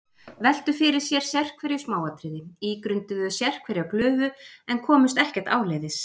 Veltu fyrir sér sérhverju smáatriði, ígrunduðu sérhverja glufu, en komust ekkert áleiðis.